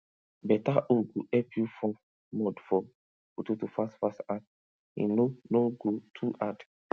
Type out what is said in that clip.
beta hoe go help you form mould for potato fast fast and e no no go too hard